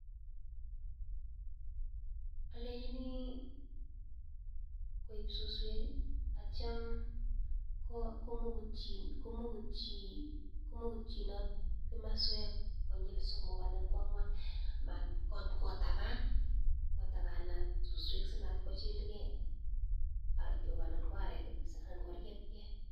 Olenchini koib suswek akitio komukutyinot komoswek somok anan ko angwan matkotaban kotabanat suswek simatkochilke artok anan ko areek anan koriebke.